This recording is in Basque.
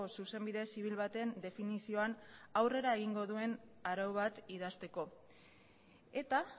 zuzenbide zibil baten definizioan aurrera egingo duen arau bat idazteko eta